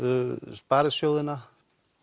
sparisjóðina